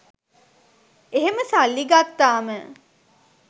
එහෙම සල්ලි ගත්තාම